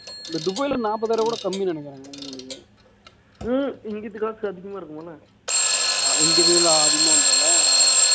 இந்த துபாய்ல நாப்பதாயிரம் கூட கம்மின்னு நினைக்கிறேன் உங்களுக்கு இங்கிட்டு காசு அதிகமா இருக்குமாண்ணே இங்கிருந்து அதிகமா வந்துரும் இல்ல